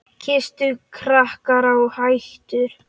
Kristur hrakinn og hæddur.